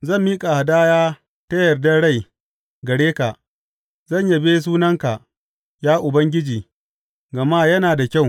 Zan miƙa hadaya ta yardar rai gare ka; zan yabe sunanka, ya Ubangiji, gama yana da kyau.